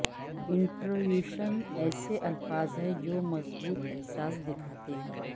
انٹرویوشن ایسے الفاظ ہیں جو مضبوط احساس دکھاتے ہیں